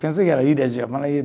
Pensei que era ilha de Japão.